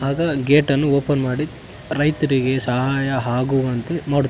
ಆಗ ಗೇಟನ್ನು ಓಪನ್ ಮಾಡಿ ರೈತರಿಗೆ ಸಹಾಯ ಆಗುವಂತೆ ನೋಡು --